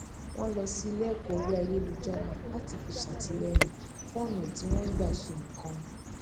wọn lọ sí ilé ẹkọ orí ayélujára láti fi ṣàtìlẹyìn fún ọnà tí wọn ń gbà ṣe nǹkan